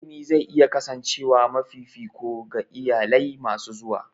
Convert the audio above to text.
Ilimi zai iya kasancewa mafi fifiko ga iyalai masu zuwa.